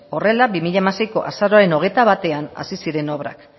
horrela bi mila hamaseiko azaroaren hogeita batean hasi ziren obrak